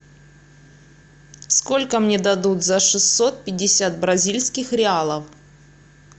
сколько мне дадут за шестьсот пятьдесят бразильских реалов